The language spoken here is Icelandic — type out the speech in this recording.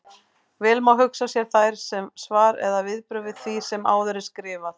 Vel má hugsa sér þær sem svar eða viðbrögð við því sem áður er skrifað.